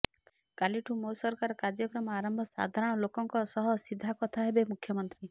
କାଲିଠୁ ମୋ ସରକାର କାର୍ଯ୍ୟକ୍ରମ ଆରମ୍ଭ ସାଧାରଣ ଲୋକଙ୍କ ସହ ସିଧା କଥା ହେବେ ମୁଖ୍ୟମନ୍ତ୍ରୀ